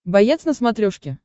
боец на смотрешке